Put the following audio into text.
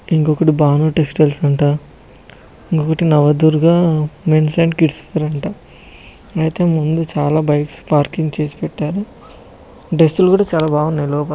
ఇంకొకటి భాను టెక్స్టైల్స్ అంట ఇంకొకటి Navadurga mens and kids wear అంట అయితే ముందు చాలా బైక్స్ అయితే పార్కింగ్ చేసి పెట్టారు డ్రస్ లు కూడా చాలా బాగున్నాయి లోప--